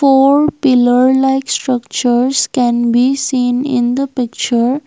four pillar like structures can be seen in the picture.